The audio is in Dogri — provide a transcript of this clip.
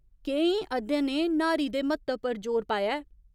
केईं अध्ययनें न्हारी दे म्हत्तव पर जोर पाया ऐ।